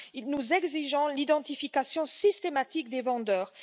cela, nous exigeons l'identification systématique des vendeurs.